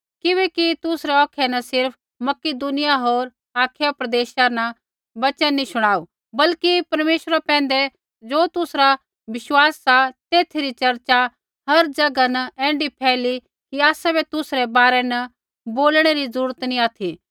किबैकि तुसरै औखै न सिर्फ़ मकिदुनिया होर अखाया प्रदेशा न प्रभु रा वचन नी शुणाऊ बल्कि परमेश्वरा पैंधै ज़ो तुसरा विशवास सा तेथै री चर्चा हर ज़ैगा न ऐण्ढी फैली कि आसाबै तुसरै बारै न बोलणै री ज़रूरत नी ऑथि